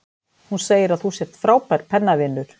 Hún segir að þú sért frábær pennavinur.